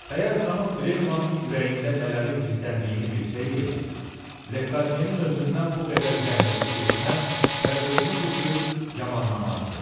Əgər xanım Trelevanın ürəyində nələrin gizləndiyini bilsəydi, Lekadyenin özündən bu qədər zəhləsi getməz və özünü bu cür yamanlamazdı.